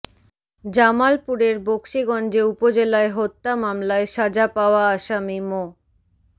জামালপুরের বকশীগঞ্জ উপজেলায় হত্যা মামলায় সাজা পাওয়া আসামি মো